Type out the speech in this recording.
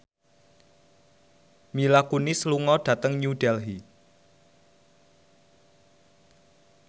Mila Kunis lunga dhateng New Delhi